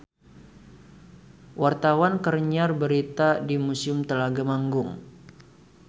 Wartawan keur nyiar berita di Museum Telaga Manggung